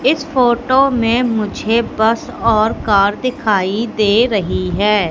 इस फोटो में मुझे बस और कार दिखाई दे रही है।